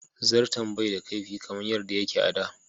Zarton bai da kaifi kamar yadda yake a da.